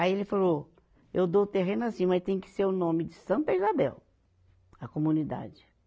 Aí ele falou, eu dou o terreno assim, mas tem que ser o nome de Santa Isabel, a comunidade.